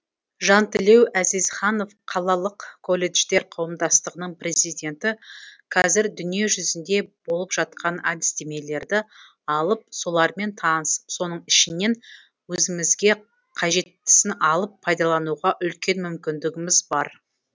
жантілеу әзизханов қалалық колледждер қауымдастығының президенті қазір дүниежүзінде болып жатқан әдістемелерді алып солармен танысып соның ішінен өзімізге қажеттісін алып пайдалануға үлкен мүмкіндігіміз бар